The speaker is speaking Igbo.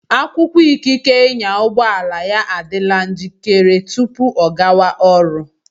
Akwụkwọ ikike ịnya ụgbọala ya adịla njikere tupu ọ gáwá ọrụ